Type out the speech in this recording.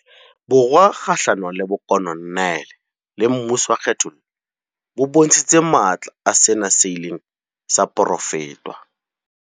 Borwa kgahlano le bokolo neale le mmuso wa kgethollo bo bontshitse matla a sena seileng sa porofetwa.